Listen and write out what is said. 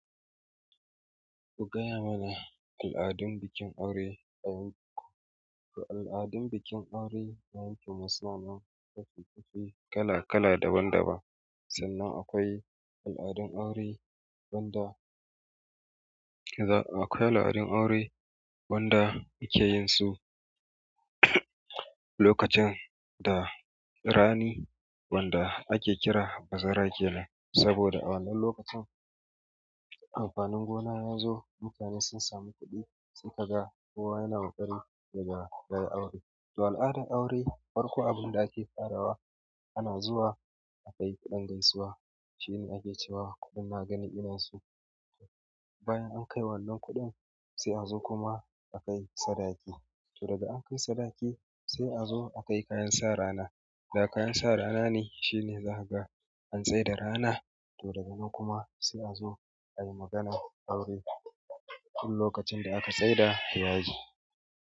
Ku gaya mana al'adun bikin aure a yankin ku. To al'adun bikin aure a yankin mu suna nan kala kala daban daban sannan akwai al'adun aure wanda akwai al'adun aure wanda ake yinsu lokacin da rani wanda ake kira bazara kenan. Saboda a wannan lokacin amfanin gona ya zo mutane sun samu kuɗi sun ka ga kowa yana wakari daga daga aure. To al'adar aure farko abin da ake farawa ana zuwa a kai kuɗin gaisuwa shine ake cewa kuɗin na gani inansu bayan an kai wannan kuɗin sai a zo kuma a kai sadaki. To daga an kai sadaki sai a zo a kai kayan sa rana da kayan sa rana ne shine zaka ga an tsaida rana to daga nan kuma sai a zo ayi maganan aure duk lokacin da aka tsaida ya yi.